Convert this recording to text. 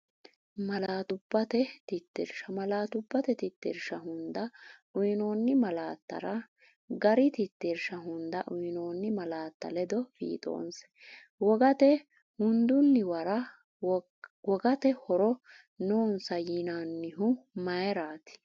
Malaatubbate Tittirsha Malaatubbate Tittirsha hunda uyinoonni malaattara gari tittirsha hunda uyinoonni malaatta ledo fiixoonse, Wogate uduunnuwara wogate horo noonsa yinannihu mayiraati?